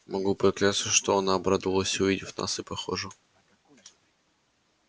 могу поклясться что она обрадовалась увидав нас и похоже